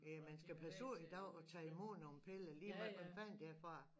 Ja man skal passe på i dag at tage i mod nogle piller ligemeget hvor fanden de er fra